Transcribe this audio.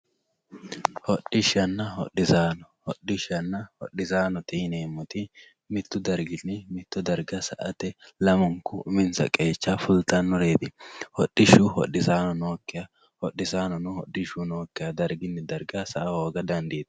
Hodhdhishanna hodhisaano hodhishana hodhisaanote yinemoti mittu dargini mitto darga sa`ate lamunku uminsa qeecha fultanoreet hodhishshu hodhisaano nokiha hodhisaanono hodhishu nookiha dargini darga sa`a hooga dandtano.